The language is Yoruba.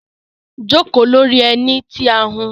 joko lori eni ti a hun